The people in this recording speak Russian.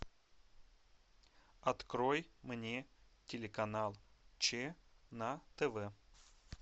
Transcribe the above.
открой мне телеканал че на тв